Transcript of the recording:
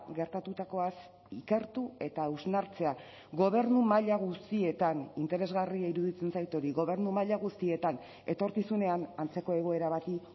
gertatutakoaz ikertu eta hausnartzea gobernu maila guztietan interesgarria iruditzen zait hori gobernu maila guztietan etorkizunean antzeko egoera bati